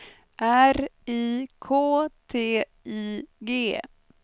R I K T I G